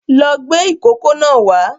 Lọ gbé ìkókó náà wá